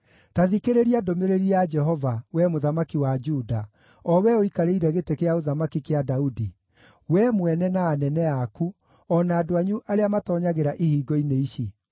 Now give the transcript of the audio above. ‘Ta thikĩrĩria ndũmĩrĩri ya Jehova, wee mũthamaki wa Juda, o wee ũikarĩire gĩtĩ kĩa ũthamaki kĩa Daudi: wee mwene, na anene aku, o na andũ anyu arĩa matoonyagĩra ihingo-inĩ ici.